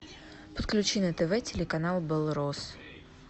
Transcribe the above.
подключи на тв телеканал белрос